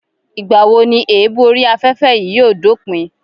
Ìgbà wo ni èébú orí afẹ́fẹ́ yìí yóò dópin